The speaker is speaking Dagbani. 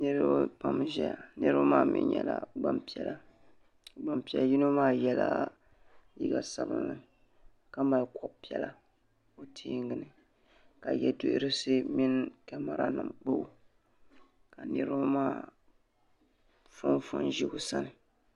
Niriba pam n zaya niriba maa mi nyɛla Gbanpiɛla gban piɛli yino maa yɛla liiga sabinli kamali kobi piɛla o tɛɛngini ka yɛduhirisi mini kamɛra nim kpao ka niriba maa fonfon n zi o sani